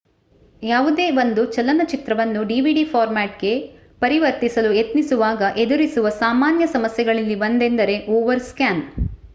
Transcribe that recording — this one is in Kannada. ಯಾವುದೇ ಒಂದು ಚಲನಚಿತ್ರವನ್ನು ಡಿವಿಡಿ ಫಾರ್ಮ್ಯಾಟ್ ಗೆ ಪರಿವರ್ತಿಸಲು ಯತ್ನಿಸುವಾಗ ಎದುರಿಸುವ ಸಾಮಾನ್ಯ ಸಮಸ್ಯೆಗಳಲ್ಲಿ ಒಂದೆಂದರೆ ಓವರ್ ಸ್ಕ್ಯಾನ್